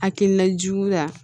Hakilina juguya